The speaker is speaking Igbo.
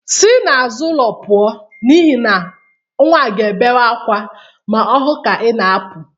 Si n'azụ ụlọ pụọ n'ihi na nwa a ga-ebewe akwa ma ọ hụ ka ị na-apụ.